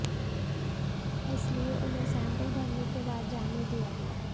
इसलिए उन्हें सैंपल भरने के बाद जाने दिया गया